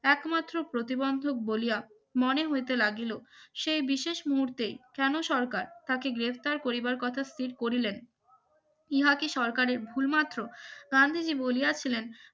একমাত্র প্রতিবন্ধক বলিয়া মনে হইতে লাগিল সেই বিশেষ মুহূর্তেই কেন সরকার তাকে গ্রেফতার করিবার কথা স্থির করিলেন ইয়ার্কি সরকারের ভুল মাত্র গান্ধীজী বলিয়াছিলেন